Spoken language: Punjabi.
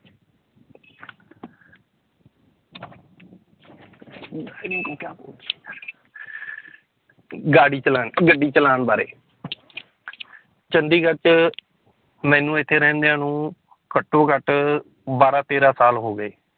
ਗਾੜੀ ਚਲਾਉਣ ਅਹ ਗੱਡੀ ਚਲਾਉਣ ਬਾਰੇ ਚੰਡੀਗੜ੍ਹ ਚ ਮੈਨੂੰ ਇੱਥੇ ਰਹਿੰਦਿਆਂ ਨੂੰ ਘੱਟੋ ਘੱਟ ਬਾਰਾਂ ਤੇਰਾਂ ਸਾਲ ਹੋ ਗਏ